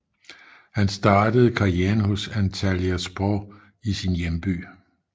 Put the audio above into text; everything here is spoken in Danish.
Han startede karrieren hos Antalyaspor i sin hjemby